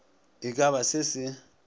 e ka ba se se